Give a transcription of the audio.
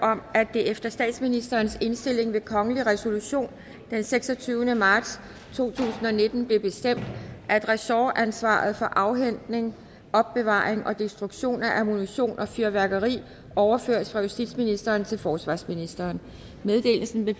efter statsministerens indstilling ved kongelig resolution den seksogtyvende marts to tusind og nitten blev bestemt at ressortansvaret for afhentning opbevaring og destruktion af ammunition og fyrværkeri overføres fra justitsministeren til forsvarsministeren meddelelsen vil